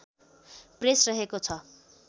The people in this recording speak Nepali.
प्रेस रहेको छ